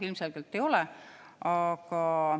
Ilmselgelt ei ole.